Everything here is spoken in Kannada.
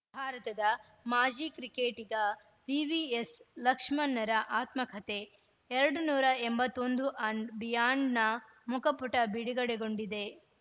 ಭಾರತದ ಮಾಜಿ ಕ್ರಿಕೆಟಿಗ ವಿವಿಎಸ್‌ ಲಕ್ಷ್ಮಣ್‌ರ ಆತ್ಮಕಥೆ ಎರಡನ್ನೂರ ಎಂಬತ್ತ್ ಒಂದು ಅಂಡ್‌ ಬಿಯಾಂಡ್‌ನ ಮುಖಪುಟ ಬಿಡುಗಡೆಗೊಂಡಿದೆ